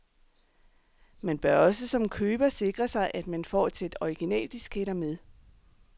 Man bør også som køber sikre sig, at man får et sæt originaldisketter med.